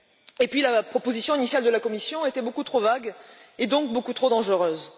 Et puis, la proposition initiale de la Commission était beaucoup trop vague, et donc beaucoup trop dangereuse.